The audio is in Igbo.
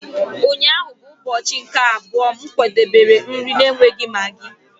Ụnyaahụ bụ ụbọchị nke abụọ m kwadebere nri na-enweghị maggi.